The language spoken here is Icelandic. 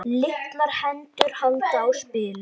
Litlar hendur halda á spilum.